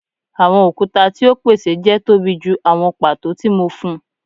Awọn okuta ti o pese jẹ tobi ju awọn pato ti mo fun